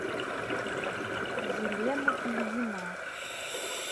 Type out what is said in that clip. елена ильина